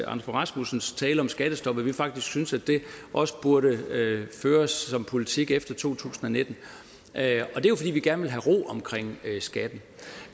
rasmussens tale om skattestop at vi faktisk synes at det også burde føres som politik efter to tusind og nitten og det er jo fordi vi gerne vil have ro omkring skatten